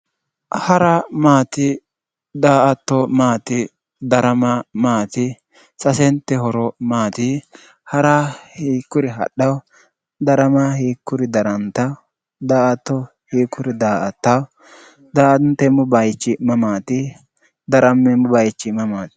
hara maati da''atto maati darama maati? sasente horo maati? hara hiikkuri hadhaho darama hiikkuri darantaho daa''atto hiikkuri daa''attanno daa''anteemmo bayichi mamaati darammeemmo bayichi mamaati?